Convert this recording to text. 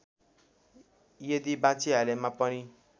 यदि बाँचिहालेमा पनि